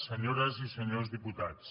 senyores i senyors diputats